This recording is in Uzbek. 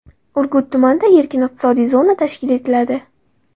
Urgut tumanida erkin iqtisodiy zona tashkil etiladi.